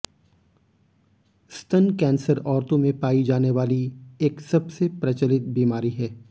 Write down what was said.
स्तन कैंसर औरतों में पाई जाने वाली एक सबसे प्रचलित बीमारी है